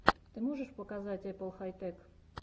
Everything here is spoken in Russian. ты можешь показать эппл хай тэк